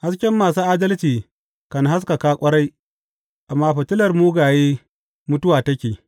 Hasken masu adalci kan haskaka ƙwarai, amma fitilar mugaye mutuwa take.